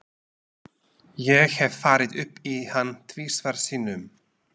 Ég hef farið upp í hann tvisvar sinnum.